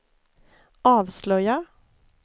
avslöjar